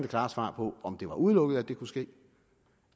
klart svar på om det var udelukket at det kunne ske